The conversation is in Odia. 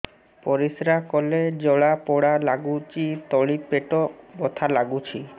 ପରିଶ୍ରା କଲେ ଜଳା ପୋଡା ଲାଗୁଚି ତଳି ପେଟ ବଥା ଲାଗୁଛି